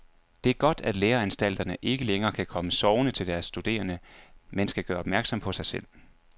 Det er godt, at læreanstalterne ikke længere kan komme sovende til deres studerende, men skal gøre opmærksom på sig selv.